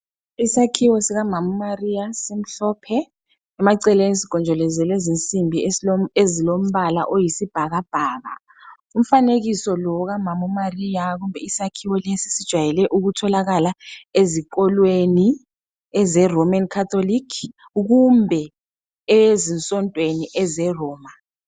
Isakhiwo sikamama uMaria simhlophe, emaceleni sigojolo zelwe zinsimbi ezilombala oyisibhakabhaka. Umfanekiso lo okamama uMaria kumbe isakhiwo lesi sijwayele ukutholakala ezikolweni ze Roman Catholic kumbe ezinsontweni ezeRoma.